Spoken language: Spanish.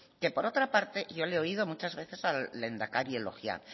que por otra parte yo le he oído muchas veces al lehendakari elogiar